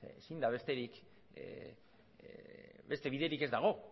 beste biderik ez dago